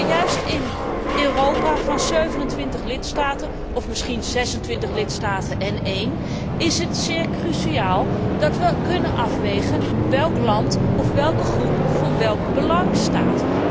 Maar juist in een Europa van 27 lidstaten, of misschien 26 lidstaten plus één, is het zeer cruciaal dat we kunnen afwegen welk land of welke groep voor welk belang staat.